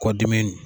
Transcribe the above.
Kɔ dimi